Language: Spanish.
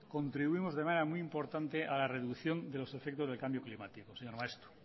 contribuimos de manera muy importante a la reducción de los efectos del cambio climático señor maeztu